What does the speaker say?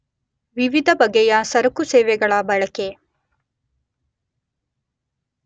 ವಿವಿಧ ಬಗೆಯ ಸರಕುಸೇವೆಗಳ ಬಳಕೆ